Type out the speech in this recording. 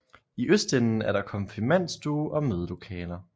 I østenden er der konfirmandstue og mødelokaler